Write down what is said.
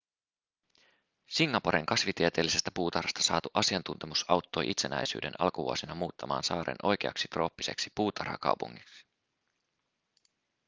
singaporen kasvitieteellisestä puutarhasta saatu asiantuntemus auttoi itsenäisyyden alkuvuosina muuttamaan saaren oikeaksi trooppiseksi puutarhakaupungiksi